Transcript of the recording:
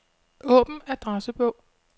Åbn adressebog.